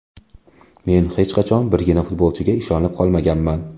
Men hech qachon birgina futbolchiga ishonib qolmaganman.